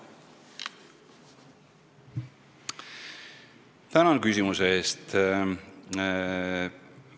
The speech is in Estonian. Tänan küsimuse eest!